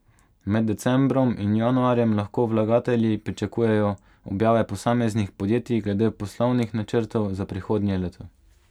Med decembrom in januarjem lahko vlagatelji pričakujejo objave posameznih podjetij glede poslovnih načrtov za prihodnje leto.